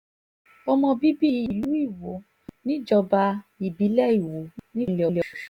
ọmọ bíbí ìlú iwo níjọba ìbílẹ̀ iwọ nípínlẹ̀ ọ̀sùn ni